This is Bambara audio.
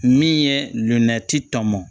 Min ye nɛgɛti tɔnmɔn